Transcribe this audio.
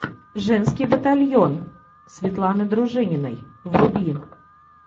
женский батальон светланы дружининой вруби